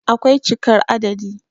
akwai cikar adadi